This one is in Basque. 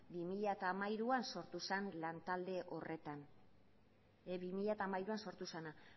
bi mila hamairuan sortu zen lantalde horretan bi mila hamairu sortu zena